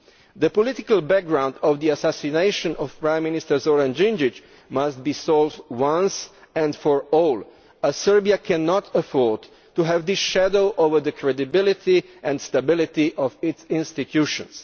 The political background to the assassination of Prime Minster Zoran Djindjić must be resolved once and for all, as Serbia cannot afford to have this shadow hanging over the credibility and stability of its institutions.